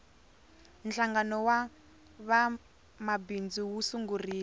hlangano wa vamabindzu wu sungurile